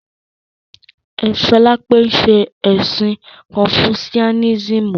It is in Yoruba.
Solape n ṣe ẹ̀sìn kọnfusiánísímù